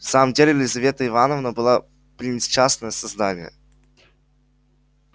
в самом деле лизавета ивановна была пренесчастное создание